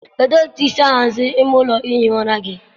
kedụ otu esi ahazi ime ụlọ ihi ụra gị?